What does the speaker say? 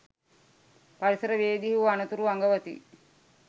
පරිසර වේදී හු අනතුරු අඟවති.